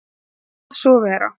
Ég kvað svo vera.